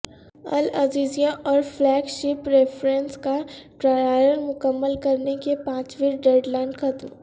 العزیزیہ اور flagship references کا trial مکمل کرنے کی پانچویں ڈیڈ لائن ختم